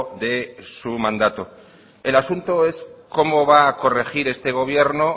de su mandato el asunto es cómo va a corregir este gobierno